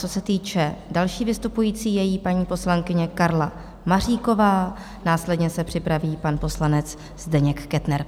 Co se týče další vystupující, je jí paní poslankyně Karla Maříková, následně se připraví pan poslanec Zdeněk Kettner.